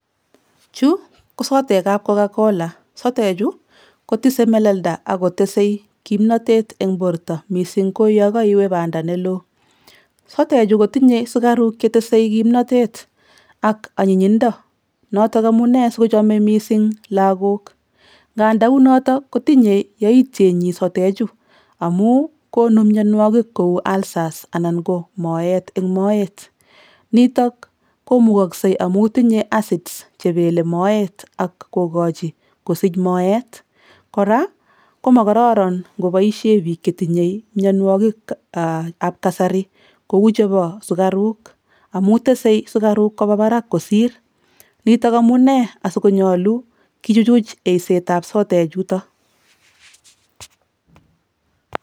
Chu ko sodekab Coca-Cola, sodechu kotise melelda ak kotesei kimnotet eng borta mising ko yo kaiwe banda ne loo. Sodechu kotinye sukaruk che tese kimnotet ak anyinyindo, notok amune sikochome mising lagok, nganda unotok kotinye yaityenyi sodechu amu konu mionwogik kou ulcers anan ko moet eng moet, nitok komukokse amu tinye acids chebelei moet ak kokochi kosich moet. Kora ko mokororon ngoboisie piik che tinyei mionwogikab kasari kou chebo sukaruk amu tesei sukaruk koba barak kosir, nitok amune asi konyolu kichuchuch eisetab sodechuto.